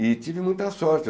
E tive muita sorte.